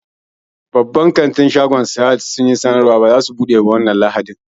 Babban kantin Sahad sun yi sanarwa cewa ba za su buɗe ba wannan lahadin